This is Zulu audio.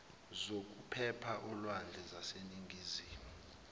zokuphepha olwandle zaseningizimu